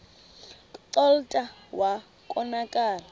kclta wa konakala